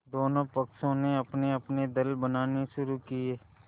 दोनों पक्षों ने अपनेअपने दल बनाने शुरू किये